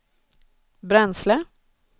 bränsle